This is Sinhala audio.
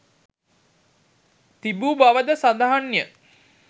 තිබූ බවද සඳහන්ය.